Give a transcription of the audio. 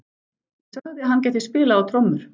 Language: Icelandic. Ég sagði að hann gæti spilað á trommur.